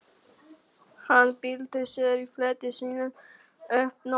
Hann bylti sér í fleti sínu um nóttina.